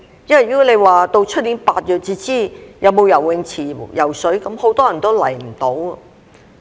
因為如果到了明年8月才知道是否有游泳池游泳，很多人都來不到。